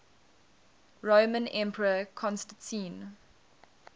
roman emperor constantine